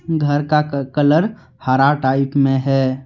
घर का कलर हरा टाइप में है।